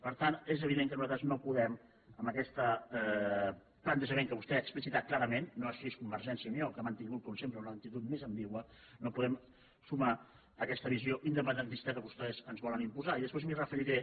per tant és evident que nosaltres no podem amb aquest plantejament que vostè ha explicitat clarament no així convergència i unió que ha mantingut com sempre una actitud més ambigua no podem sumar aquesta visió independentista que vostès ens volen im·posar i després m’hi referiré